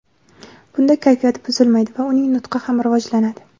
Bunda kayfiyat buzilmaydi va uning nutqi ham rivojlanadi.